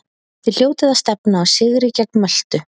Þið hljótið að stefna á sigri gegn Möltu?